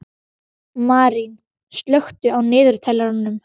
Marín, slökktu á niðurteljaranum.